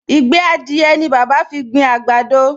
Ìgbẹ́ adìẹ ni bàbá fi gbin àgbàdo